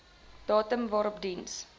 datum waarop diens